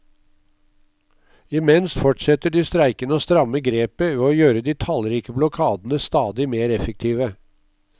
Imens fortsetter de streikende å stramme grepet ved å gjøre de tallrike blokadene stadig mer effektive.